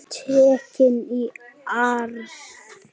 Tekin í arf.